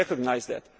we recognise that.